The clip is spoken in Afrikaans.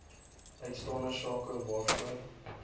uitstaande sake waarvoor